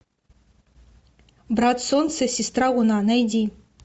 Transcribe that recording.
брат солнце сестра луна найди